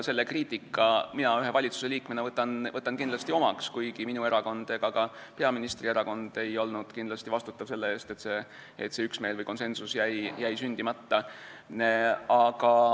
Selle kriitika võtan mina ühe valitsusliikmena kindlasti omaks, kuigi ei minu erakond ega ka peaministri erakond ei olnud kindlasti vastutav selle eest, et see üksmeel jäi sündimata.